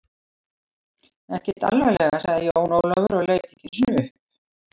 Ekkert alvarlega, sagði Jón Ólafur og leit ekki einu sinni upp.